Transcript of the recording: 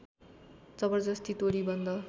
जबर्जस्ती तोडी बन्द